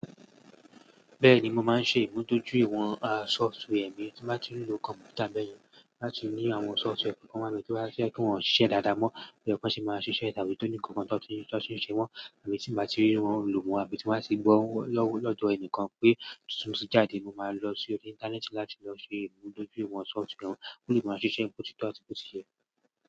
Bẹ́ẹ̀ni, mo máa ń ṣe ìmúdójúìwọ̀n software mi tí mo bá ti ń lo kọ̀m̀pútà bẹ́ẹ̀yẹn láti ní àwọn software kan wá bí kí wọ́n sì ṣiṣẹ́ dáadáa mọ́, bo ye ko ṣé máa ṣiṣẹ́ àbí tó ní kankan tó ti ń ṣe wọ́n àbí tí mo bá rí wọn lo mo àbí tí mo bá ti gbọ́ ó lọ́dọ̀ ẹnìkan pé títún tí jáde, mo máa lọ sí orí Íńtánẹ́ẹ̀tì láti lọ ṣe ìmúdójúìwọ̀n software náà kí ó lè máa ṣiṣẹ́ boti tó àti boti yẹ.